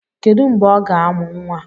Kedu mgbè ọ ga-amu nwa?